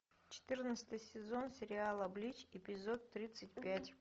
четырнадцатый сезон сериала блич эпизод тридцать пять